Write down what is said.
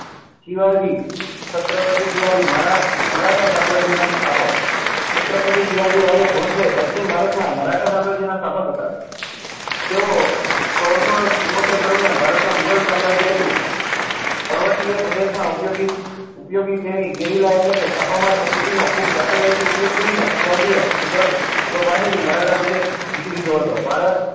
તે ઓ સોળસો ચુમોતેર દરમ્યાન ભારત માં મુગલ સામ્રાજ્ય હતું પર્વત્રીય પ્રદેશ માં ઉપયોગો ગીરીલા એટલે કે ચપ માર નીતિ નો ખુબ ચાતરું થી ઉપાયો કરી ને શિવાજી એ મુગલ અને મરાઠા પ્રદેશ જીતી લીધો હતો